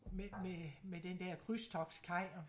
Med med med den der krydstogtskaj og